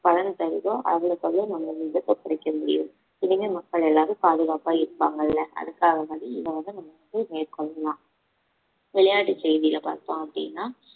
பலன் தருதோ அவ்ளோக்கவளோ நம்ம விபத்த குறைக்க முடியும் இனிமே மக்கள் எல்லாரும் பாதுகாப்பா இருப்பாங்கல்ல அதுக்காக வேண்டி இதை வந்து நம்ம வந்து மேற்கொள்ளலாம் விளையாட்டு செய்தியில பார்த்தோம் அப்படின்னா